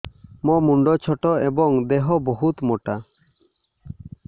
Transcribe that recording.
ମୋ ମୁଣ୍ଡ ଛୋଟ ଏଵଂ ଦେହ ବହୁତ ମୋଟା